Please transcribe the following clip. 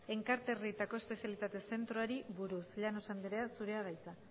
enkarterrietako espezialitate zentroari buruz llanos andrea zurea da hitza